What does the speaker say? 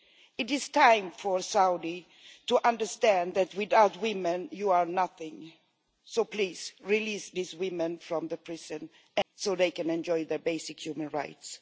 It is time for Saudi to understand that without women, you are nothing, so please release these women from prison so they can enjoy their basic human rights.